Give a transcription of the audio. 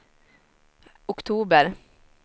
oktober